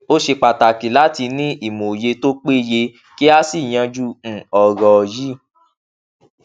ó ṣe pàtàkì láti ní ìmòye tó péye kí a sì yanju um ọrọ yìí